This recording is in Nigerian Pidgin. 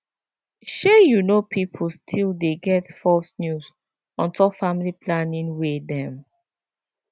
shey you know pipo still dey get false news on top family planning way dem